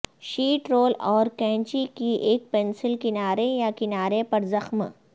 sheet roll اور کینچی کے ایک پنسل کنارے یا کنارے پر زخم